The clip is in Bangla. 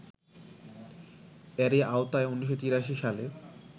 এরই আওতায় ১৯৮৩সালে